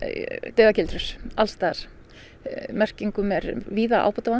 dauðagildrur alls staðar merkingum er víða ábótavant